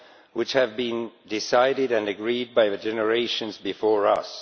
which have been decided on and agreed by the generations before us.